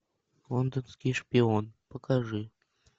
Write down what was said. лондонский шпион покажи